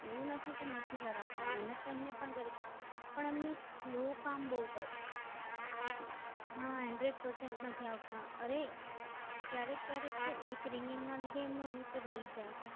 એવું નથી કે નથી કરાવતા મહેનત તો એમને પણ કરે છે પણ એમને Sal કામ કરે.